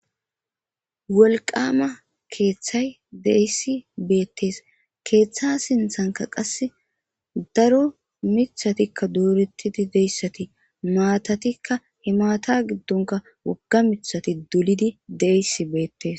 Wolqa keethay dezaysi betes ketha sinthanka qase daro mithatika doretidi dazaysatika matatika he mata gidon woga mithati dolidi dizaysi betes